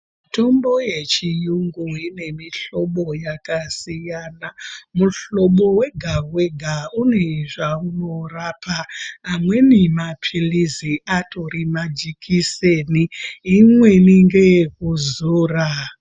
Mitombo yechiyungu ine mihlobo yakasiyana. Muhlobo wega wega une zvaunorapa, amweni mapilizi atori majekiseni, imweni ngeyekuzora.